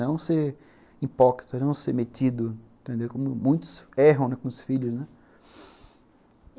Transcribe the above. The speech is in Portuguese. Não ser hipócrita, não ser metido, entendeu? como muitos erram, né, com os filhos.